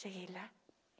Cheguei lá.